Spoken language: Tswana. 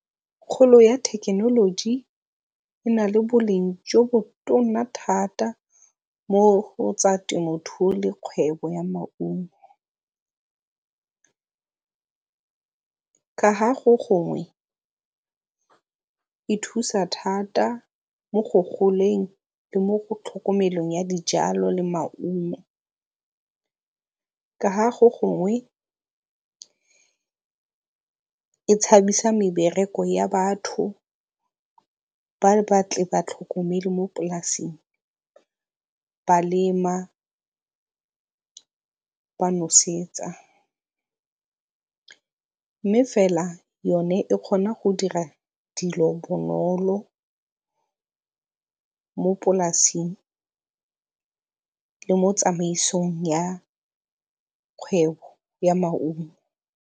Kgolo ya thekenoloji e na le boleng jo bo tona thata mo go tsa temothuo le kgwebo ya maungo. Ka ga go gongwe e thusa thata mo go goleng le mo go tlhokomelong ya dijalo le maungo. Ka ga go gongwe e tshabisa mebereko ya batho ba ba tle ba tlhokomele mo polasing, ba lema, ba nosetsa, mme fela yone e kgona go dira dilo bonolo mo polasing le mo tsamaisong ya kgwebo ya maungo.